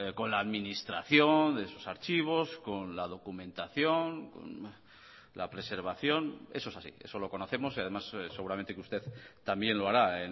con la administración de sus archivos con la documentación la preservación eso es así eso lo conocemos y además seguramente que usted también lo hará